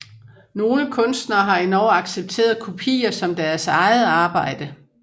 Nogle kunstnere har endog accepteret kopier som deres eget arbejde